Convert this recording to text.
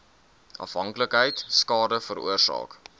afhanklikheid skade veroorsaak